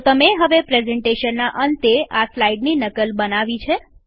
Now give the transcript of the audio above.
તો તમે હવે પ્રેઝન્ટેશનના અંતે આ સ્લાઈડની નકલ બનાવી છે